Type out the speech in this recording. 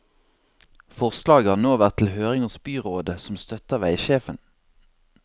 Forslaget har nå vært til høring hos byrådet, som støtter veisjefen.